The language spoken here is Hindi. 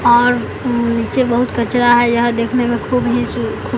और नीचे बहुत कचरा हैं यह देखने में